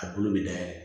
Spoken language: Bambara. A bolo bɛ dayɛlɛ